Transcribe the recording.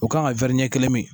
O kan ka wɛri ɲɛ kelen mi